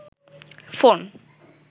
phone